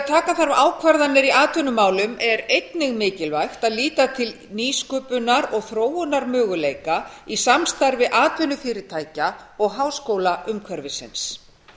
taka þarf ákvarðanir í atvinnumálum er einnig mikilvægt að líta til nýsköpunar og þróunarmöguleika í samstarfi atvinnufyrirtækja og háskólaumhverfisins